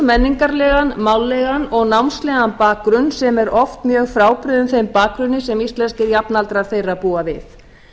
menningarlegan mállegan og námslegan bakgrunn sem er oft mjög frábrugðinn þeim bakgrunni sem íslenskir jafnaldrar þeirra búa við